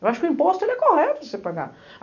Eu acho que o imposto ele é correto para você pagar.